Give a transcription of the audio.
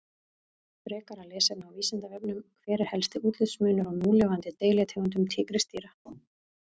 Frekara lesefni á Vísindavefnum: Hver er helsti útlitsmunur á núlifandi deilitegundum tígrisdýra?